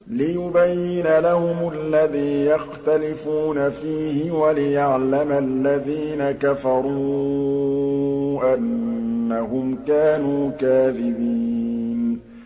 لِيُبَيِّنَ لَهُمُ الَّذِي يَخْتَلِفُونَ فِيهِ وَلِيَعْلَمَ الَّذِينَ كَفَرُوا أَنَّهُمْ كَانُوا كَاذِبِينَ